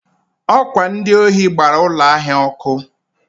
ọ kwa ndị ohi gbara ụlọ ahịa ọkụ.